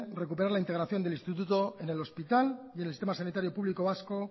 recuperar la integración del instituto en el hospital y en el sistema sanitario público vasco